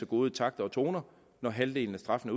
god takt og tone når halvdelen af straffen